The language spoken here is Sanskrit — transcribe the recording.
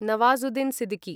नवाजुद्दीन् सिद्दीकी